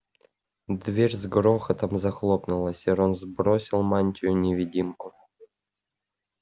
дверь с грохотом захлопнулась и рон сбросил мантию-невидимку